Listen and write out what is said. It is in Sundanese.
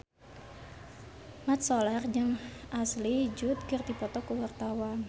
Mat Solar jeung Ashley Judd keur dipoto ku wartawan